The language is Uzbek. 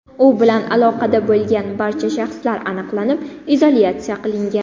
U bilan aloqada bo‘lgan barcha shaxslar aniqlanib, izolyatsiya qilingan.